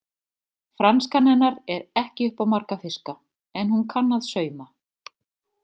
Franskan hennar er ekki upp á marga fiska en hún kann að sauma.